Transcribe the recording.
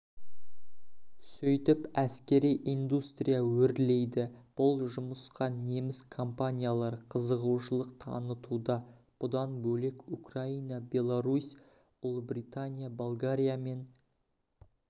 сөйтіп әскери индустрия өрлейді бұл жұмысқа неміс компаниялары қызығушылық танытуда бұдан бөлек украина беларусь ұлыбритания болгариямен